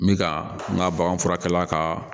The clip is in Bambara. N bɛ ka n ka bagan furakɛ la ka